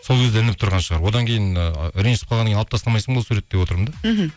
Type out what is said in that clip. сол кезде ілініп тұрған шығар одан кейін ы ренжісіп қалғаннан кейін алып тастамайсың ба ол суретті деп отырмын да мхм